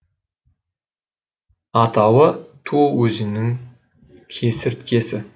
атауы туо өзенінің кесірткесі